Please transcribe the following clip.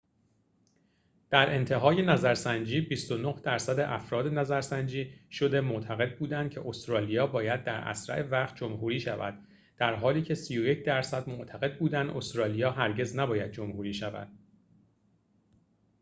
در انتهای نظرسنجی ۲۹ درصد افراد نظرسنجی شده معتقد بودند که استرالیا باید در اسرع وقت جمهوری شود در حالی که ۳۱ درصد معتقد بودند استرالیا هرگز نباید جمهوری شود